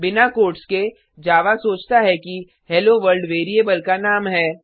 बिना कोट्स के जावा सोचता है कि हेलोवर्ल्ड वेरिएबल का नाम है